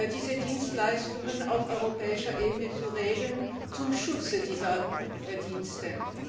diese Dienstleistungen auf europäischer Ebene zu regeln, zum Schutz dieser Dienste.